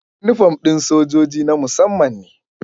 Inifom ɗin sojoji na musamman ne